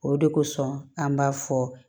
O de kosɔn an b'a fɔ